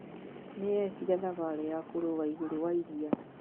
Nĩ ekire thabarĩ ya kũrũga igũrũ wa iria.